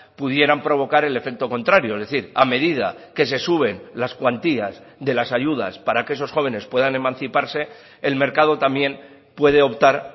pudieran provocar el efecto contrario es decir a medida que se suben las cuantías de las ayudas para que esos jóvenes puedan emanciparse el mercado también puede optar